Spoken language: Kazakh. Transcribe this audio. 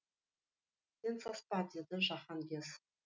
сен саспа деді жаһанкез